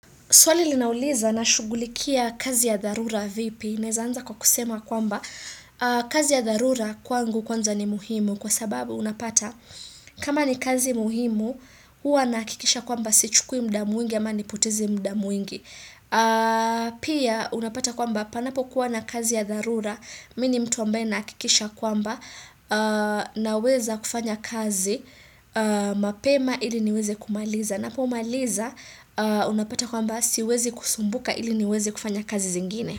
Swali linauliza nashugulikia kazi ya dharura vipi, naeza anza kwa kusema kwamba kazi ya dharura kwangu kwanza ni muhimu kwa sababu unapata kama ni kazi muhimu huwa nahakikisha kwamba sichukui muda mwingi ya ama nipoteze muda mwingi. Pia unapata kwamba panapo kuwa na kazi ya dharura, mimi ni mtu ambaye nahakikisha kwamba naweza kufanya kazi, mapema ili niweze kumaliza. Ninapomaliza unapata kwamba siwezi kusumbuka ili niweze kufanya kazi zingine.